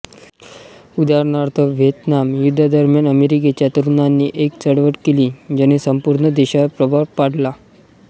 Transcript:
उदाहरणार्थ व्हिएतनाम युद्धादरम्यान अमेरिकेच्या तरुणांनी एक चळवळ केली ज्याने संपूर्ण देशावर प्रभाव पाडला